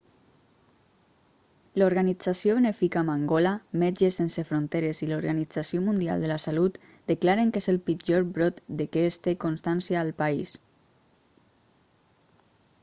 l'organització benèfica mangola metges sense fronteres i l'organització mundial de la salut declaren que és el pitjor brot de què es té constància al país